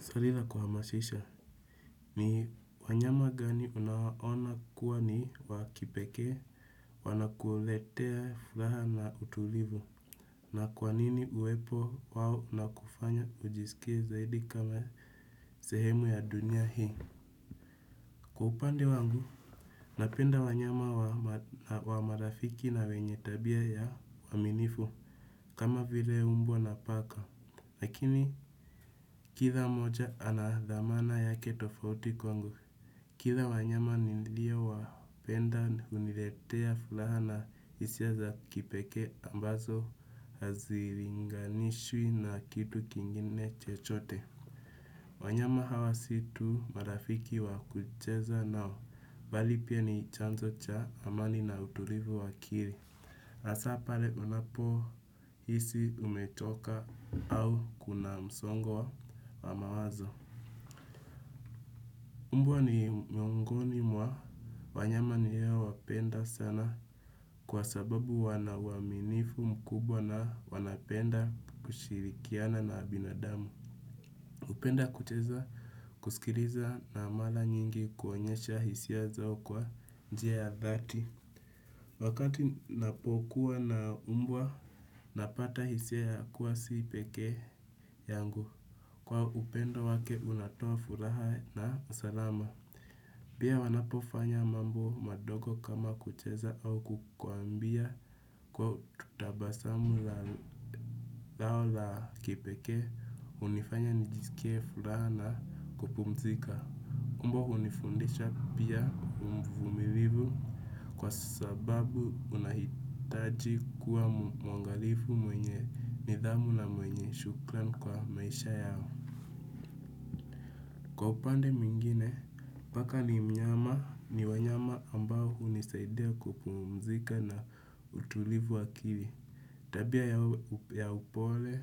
Swali la kuhamasisha, ni wanyama gani unaona kuwa ni wa kipekee, wanakuletea furaha na utulivu, na kwa nini uwepo wao unakufanya ujisikie zaidi kama sehemu ya dunia hii. Kwa upande wangu, napenda wanyama wa marafiki na wenye tabia ya uaminifu, kama vile mbwa na paka. Lakini kila mmoja ana thamana yake tofauti kwangu, kila wanyama niliyowapenda huniletea furaha na hisia za kipekee ambazo haziwezi kulinganishwa na kitu kingine chochote. Wanyama hawa si tu marafiki wa kucheza nao, bali pia ni chanzo cha amani na utulivu wa akili. Hasa pale unapohisi umechoka au kuna msongo wa mawazo. Mbwa ni miongoni mwa wanyama ninaowapenda sana kwa sababu wana uaminifu mkubwa na wanapenda kushirikiana na binadamu. Hupenda kucheza, kusikiliza na mara nyingi kuonyesha hisia zao kwa njia ya dhati. Wakati napokuwa na mbwa napata hisia ya kuwa si peke yangu. Kuwa upendo wake unatoa furaha na salama. Pia wanapofanya mambo madogo kama kucheza au kukuambia kwa tabasamu lao la kipekee. Hunifanya nijisikie furaha na kupumzika. Mbwa hunifundisha pia uvumilivu, kwa sababu unahitaji kuwa mwangalifu, mwenye nidhamu na mwenye shukrani kwa maisha yao. Kwa upande mwingine, paka ni mnyama. Ni wanyama ambao hunisaidia kupumzika na utulivu wa akili. Tabia ya upole,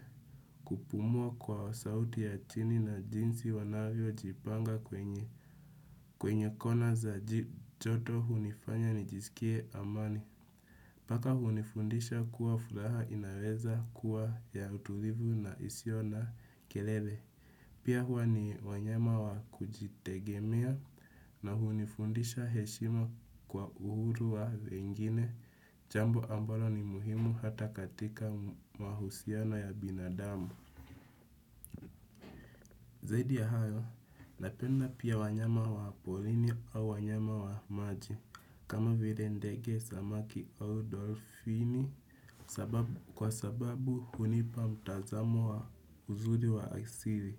kupumua kwa sauti ya chini na jinsi wanavyojipanga. Kwenye kona za joto hunifanya nijisikie amani. Paka hunifundisha kuwa furaha inaweza kuwa ya utulivu na isiyo na kelele. Pia huwa ni wanyama wa kujitegemea na hunifundisha heshima kwa uhuru wa wengine. Jambo ambalo ni muhimu hata katika mahusiano ya binadamu. Zaidi ya hayo, napenda pia wanyama wa porini au wanyama wa maji. Kama vile ndege, samaki au dolfini kwa sababu hunipa mtazamo wa uzuri wa asili.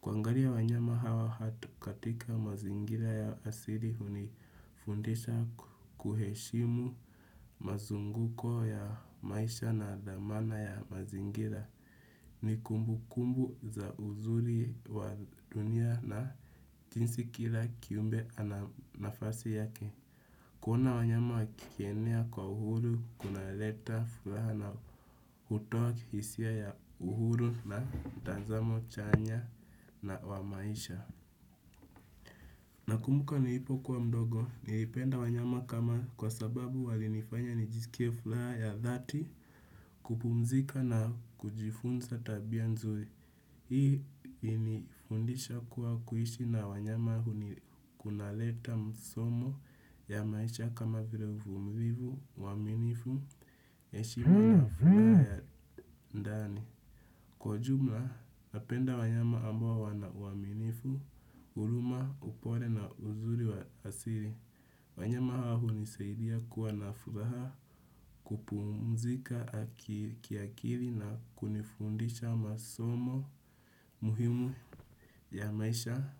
Kuangalia wanyama hawa hata katika mazingira ya asili hunifundisha kuheshimu mazunguko ya maisha na thamani ya mazingira. Ni kumbukumbu za uzuri wa dunia na jinsi kila kiumbe ana nafasi yake. Kuona wanyama wakienea kwa uhuru, kunaleta furaha na hutoa hisia ya uhuru na mtazamo chanya wa maisha. Nakumbuka nilipokuwa mdogo, nilipenda wanyama kwa sababu walinifanya nijisikie furaha ya dhati, kupumzika na kujifunza tabia nzuri. Hii ilinifundisha kuwa kuishi na wanyama kunaleta msomo ya maisha kama vile uvumilivu, uaminifu, heshima na furaha ya ndani. Kwa jumla, napenda wanyama ambao wana uaminifu, huruma, upole na uzuri wa asili. Wanyama hao hunisaidia kuwa na furaha, kupumzika kiakili na kunifundisha masomo muhimu ya maisha.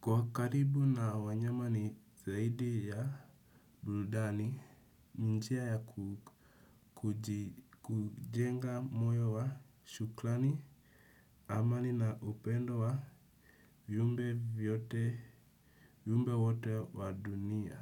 Kuwa karibu na wanyama ni zaidi ya burudani. Njia ya kujenga moyo wa shukrani. Amani na upendo wa viumbe vyote, viumbe wote wa dunia.